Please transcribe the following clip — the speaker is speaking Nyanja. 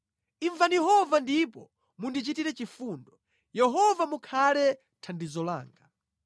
Imvani Yehova ndipo mundichitire chifundo; Yehova mukhale thandizo langa.”